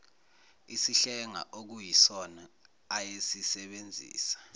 isihlenga okuyisona ayesisebenzisa